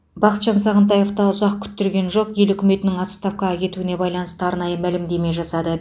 бақытжан сағынтаев та ұзақ күттірген жоқ ел үкіметінің отставкаға кетуіне байланысты арнайы мәлімдеме жасады